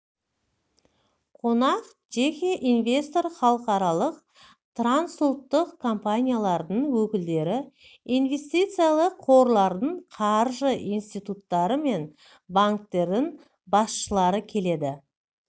қонақ жеке инвесторлар халықаралық трансұлттық компаниялардың өкілдері инвестициялық қорлардың қаржы институттары мен банктердің басшылары келеді